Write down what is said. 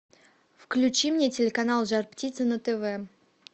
включи мне телеканал жар птица на тв